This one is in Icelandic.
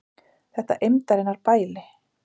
Þetta eymdarinnar bæli!